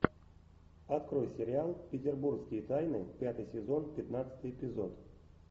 открой сериал петербургские тайны пятый сезон пятнадцатый эпизод